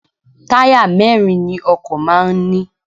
Táyà mẹ́ẹ́rin ni ọkọ̀ máà ń ní